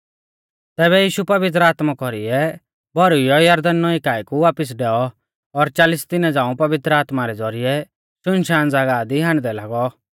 तैबै यीशु पवित्र आत्मा कौरीऐ भौरुइऔ यरदन नौईं काऐ कु वापिस डैऔ और चालिस दिना झ़ांऊ पवित्र आत्मा रै ज़ौरिऐ शुनशान ज़ागाह दी हांडदै लागौ